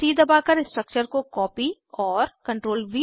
CTRLC दबाकर structure को copy और CTRLV दबाकर पेस्ट करें